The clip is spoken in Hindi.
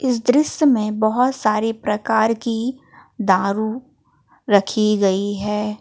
इस दृश्य में बहोत सारी प्रकार की दारू रखी गई है।